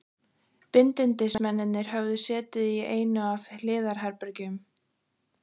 Bindindismennirnir höfðu setið í einu af hliðarherbergjum